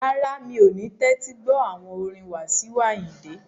Rárá, mi ò ní tẹ́tí gbọ́ àwọn orin Wasiu Ayinde